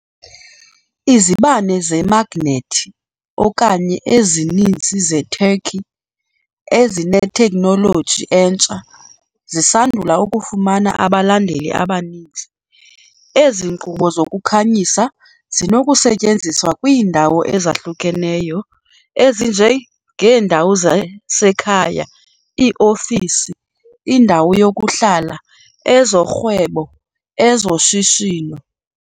Izibane zemagnethi okanye ezininzi Zeturkey, ezinetekhnoloji entsha, zisandula ukufumana abalandeli abaninzi. Ezi nkqubo zokukhanyisa zinokusetyenziswa kwiindawo ezahlukeneyo ezinje ngeendawo zasekhaya, iofisi, indawo yokuhlala, ezorhwebo, ezoshishino.